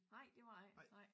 Nej det var det ikke nej